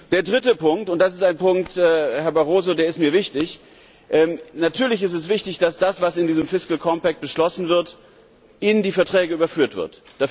Der dritte Punkt, und das ist ein Punkt, Herr Barroso, der mir wichtig ist Natürlich ist es wichtig, dass das, was in diesem fiscal compact beschlossen wird, in die Verträge überführt wird.